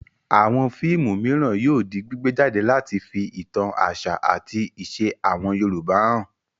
Àwọn fíìmù mìíràn yóò di gbígbé jáde láti fi ìtàn àṣà àti ìṣe àwọn Yorùbá hàn.